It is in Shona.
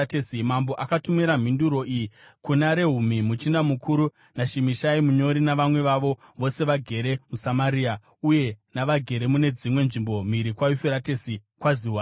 Mambo akatumira mhinduro iyi: Kuna Rehumi muchinda mukuru, naShimishai munyori navamwe vavo vose vagere muSamaria uye navagere mune dzimwe nzvimbo mhiri kwaYufuratesi: Kwaziwai.